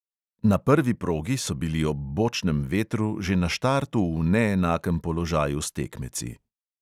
Na prvi progi so bili ob bočnem vetru že na štartu v neenakem položaju s tekmeci.